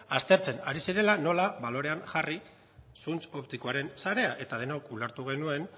aztertzen ari zirela nola balorean jarri zuntz optikoaren sarea eta denok ulertu genuen